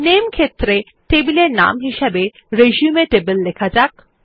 নামে ক্ষেত্রে টেবিল এর নাম হিসাবে রিসিউম টেবল লেখা যাক